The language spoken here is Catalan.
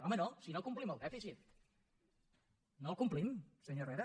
home no si no complim el dèficit no el complim senyor herrera